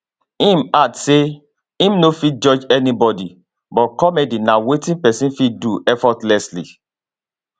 im add say im no fit judge anybody but comedy na wetin pesin fit do effortlessly